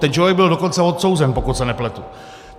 Ten člověk byl dokonce odsouzen, pokud se nepletu.